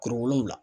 Kuru wolonwula